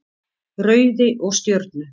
Rauði og Stjörnu.